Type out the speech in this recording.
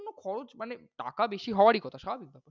খরচ মানে টাকা বেশি হওয়ারই কথা।